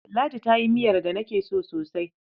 Ladi ta yi miyar da nake so sosai.